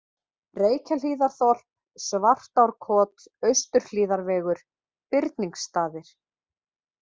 Reykjahlíðarþorp, Svartárkot, Austurhlíðarvegur, Birningsstaðir